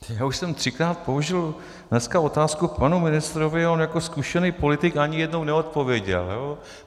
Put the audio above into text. Já už jsem třikrát položil dneska otázku panu ministrovi a on jako zkušený politik ani jednou neodpověděl.